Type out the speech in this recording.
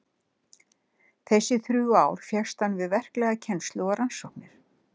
Þessi þrjú ár fékkst hann við verklega kennslu og rannsóknir.